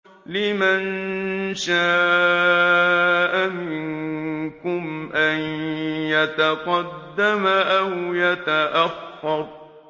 لِمَن شَاءَ مِنكُمْ أَن يَتَقَدَّمَ أَوْ يَتَأَخَّرَ